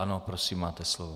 Ano, prosím, máte slovo.